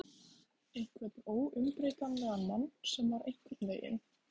Einhvern óumbreytanlegan mann sem var einhvern veginn.